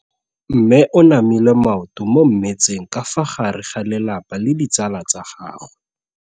Mme o namile maoto mo mmetseng ka fa gare ga lelapa le ditsala tsa gagwe.